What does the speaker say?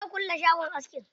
Za a kulle shagon askin.